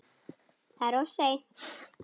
Það er of seint.